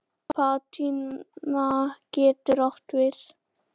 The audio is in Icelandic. Patína getur átt við